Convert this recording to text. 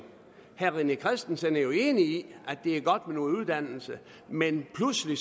herre rené christensen er jo enig i at det er godt med noget uddannelse men pludselig